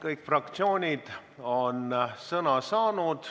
Kõik fraktsioonid on sõna saanud.